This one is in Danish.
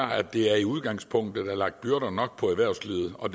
at der i udgangspunktet er lagt byrder nok på erhvervslivet og